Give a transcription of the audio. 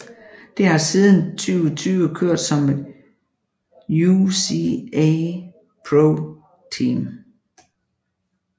Det har siden 2020 kørt som et UCI ProTeam